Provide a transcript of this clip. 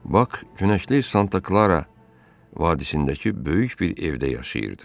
Bak günəşli Santa Klara vadisindəki böyük bir evdə yaşayırdı.